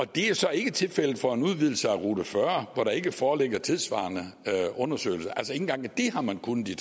det er så ikke tilfældet for en udvidelse af a40 hvor der ikke foreligger tilsvarende undersøgelser ikke engang det har man kunnet i